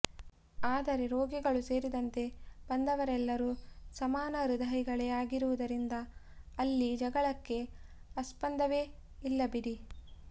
ಆದರೆ ರೋಗಿಗಳೂ ಸೇರಿದಂತೆ ಬಂದವರೆಲ್ಲರೂ ಸಮಾನ ಹೃದಯಿಗಳೇ ಆಗಿರುವುದರಿಂದ ಅಲ್ಲಿ ಜಗಳಕ್ಕೇ ಆಸ್ಪದವೇ ಇಲ್ಲ ಬಿಡಿ